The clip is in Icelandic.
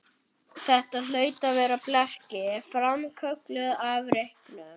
Þetta hlaut að vera blekking, framkölluð af reyknum.